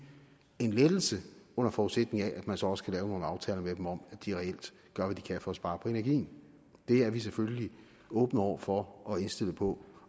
en lettelse under forudsætning af at man så også kan lave nogle aftaler med dem om at de reelt gør hvad de kan for at spare på energien det er vi selvfølgelig åbne over for og indstillet på